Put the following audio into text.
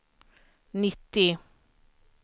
nittio